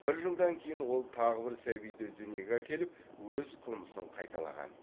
бір жылдан кейін ол тағы бір сәбиді дүниеге әкеліп өз қылмысын қайталаған